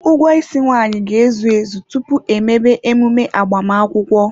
Ụgwọ isi nwaanyị ga-ezu ezu tupu emebe emume agbamakwụkwọ.